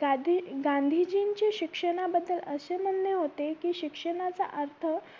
गांधी गांधीजींची शिक्षणा बद्दल असे म्हणणे होते की शिक्षणाचा अर्थ